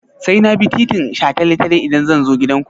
Sai na bi titin shataletale idan zan zo gidanku?